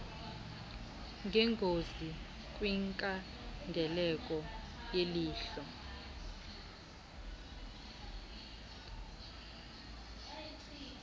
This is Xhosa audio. zengozi kwinkangeleko yelihlo